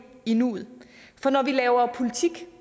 i nuet for når vi laver politik